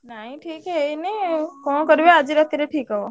ନାଇଁ ଠିକ୍ ହେଇନି କଣ କରିବ ଆଜି ରାତିରେ ଠିକ୍ ହବ।